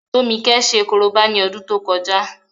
Tómikẹ́ ṣe korobá ní ọdún tó kọjá